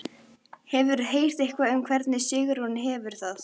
Hefurðu heyrt eitthvað um hvernig Sigrún hefur það?